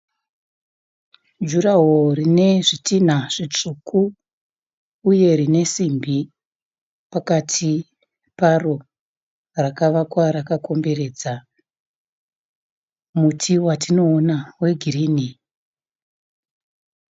Juraho rine zvitinha zvitsvuku uye rine simbi pakati paro. Rakavakwa rakakomberedza muti watinoona wegirini.